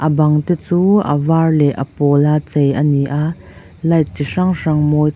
bang te chu a var leh a pawla chei a ni a light chi hrang hrang mawi--